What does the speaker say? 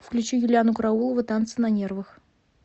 включи юлианну караулову танцы на нервах